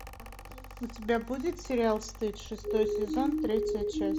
у тебя будет сериал стыд шестой сезон третья часть